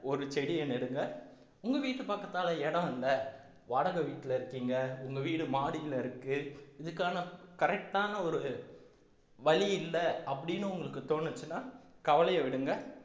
ஒரு செடியை நெடுங்க உங்க வீட்டு பக்கத்தால இடம் இல்லை வாடகை வீட்டுல இருக்கீங்க உங்க வீடு மாடியில இருக்கு இதுக்கான correct ஆன ஒரு வழி இல்லை அப்படின்னு உங்களுக்கு தோணுச்சுன்னா கவலைய விடுங்க